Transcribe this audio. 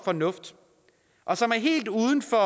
fornuft og som er helt uden for